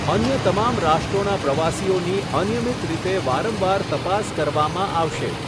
અન્ય તમામ રાષ્ટ્રોના પ્રવાસીઓની અનિયમિત રીતે વારંવાર તપાસ કરવામાં આવશે.